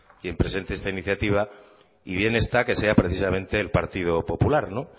quien presente esta iniciativa y bien está que sea precisamente el partido popular